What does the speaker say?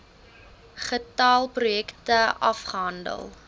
getal projekte afgehandel